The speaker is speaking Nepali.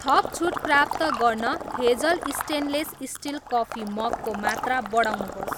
थप छुट प्राप्त गर्न Hazel stainless steel coffee mug को मात्रा बढाउनुहोस्